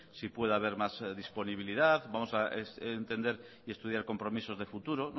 si puede haber más disponibilidad vamos a entender y estudiar compromisos de futuro